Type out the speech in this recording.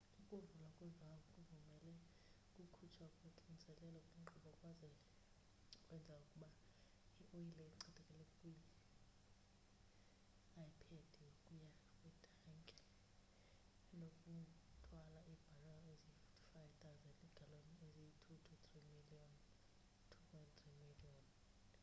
ukuvulwa kwe-valve kuvumele ukukhutshwa koxinzelelo kwinkqubo kwaze kwenza ukuba ioyile echithekele kwiphedi ukuya kwitanki enokuthwala iibharel eziyi-55 000 iigaloni eziyi-2,3 miliyoni